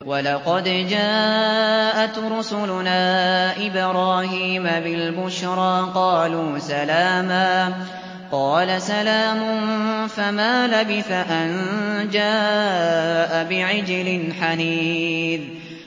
وَلَقَدْ جَاءَتْ رُسُلُنَا إِبْرَاهِيمَ بِالْبُشْرَىٰ قَالُوا سَلَامًا ۖ قَالَ سَلَامٌ ۖ فَمَا لَبِثَ أَن جَاءَ بِعِجْلٍ حَنِيذٍ